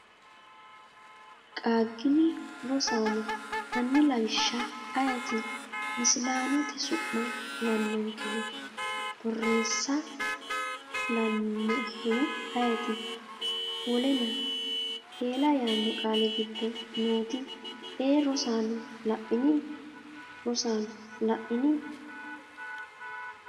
Qaaggini? Rosaano, hanni Lawishsha ayeeti misilaanote su’ma kulannonkehu? Borreessa kulannoehu ayeeti? Wolena? Eela yaanno qaali giddo nooti ee Rosaano la’ini? Rosaano, la’ini?